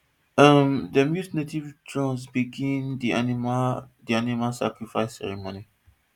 um dem use native drum begin the animal the animal sacrifice ceremony